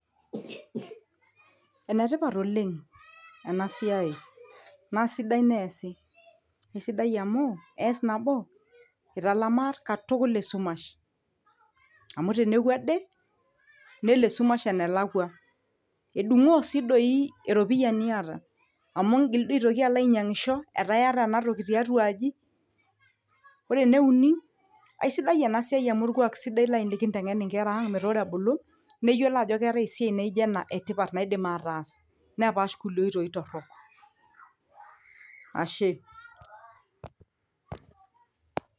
enetipat oleng ena siai naa sidai neesi aisidai amu ees nabo italamaa katukul esumash amu teneku ade nelo esumash enelakua edung'oo sii doi eropiyia niata amu ingil duo aitoki alo ainyiang'isho etaa iyata enatoki tiatua aji ore eneuni aisidai ena siai amu orkuak sidai laaji likinteng'en inkera ang metaa ore ebulu neyiolo ajo ketae esiai naijo ena etipat naidim ataas nepash kulie oitoi torrok ashe.